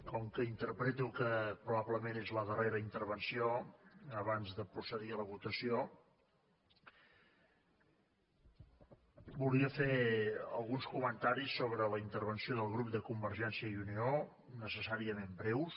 com que interpreto que probablement és la darrera intervenció abans de procedir a la votació volia fer alguns comentaris sobre la intervenció del grup de convergència i unió necessàriament breus